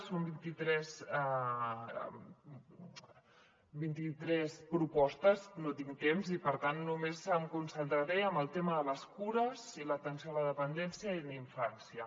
són vint·i·tres propostes no tinc temps i per tant només em concentraré en el tema de les cures i l’atenció a la dependència i la infància